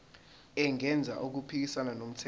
engenzi okuphikisana nomthetho